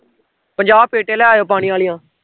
ਪੰਜਾਹ ਪੇਟੀਆਂ ਲੈ ਆਈਓ ਪਾਣੀ ਆਲੀਆਂ